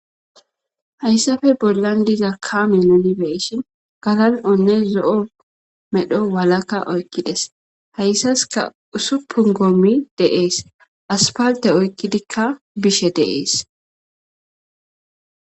Hayssafe bollan diza kaaminonibe ishin galan onne zo7o medho walakka oykkides hayssaska usupun gommi deees aspalte oykkidikka bishe dees.